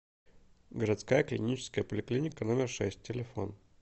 городская клиническая поликлиника номер шесть телефон